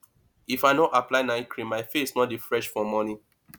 if i no apply night cream my face no dey fresh for morning